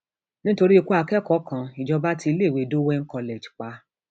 nítorí ikú akẹkọọ kan ìjọba tí iléèwé dowen college pa